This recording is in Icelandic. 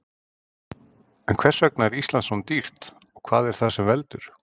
En hvers vegna er Ísland svona dýrt og hvað er það sem veldur?